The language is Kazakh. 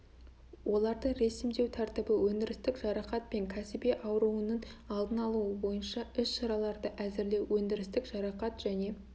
оларды ресімдеу тәртібі өндірістік жарақат пен кәсіби ауруының алдын алуы бойынша іс-шараларды әзірлеу өндірістік жарақат және